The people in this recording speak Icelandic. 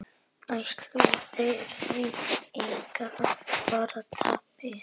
Ættu þeir því einnig að bera tapið.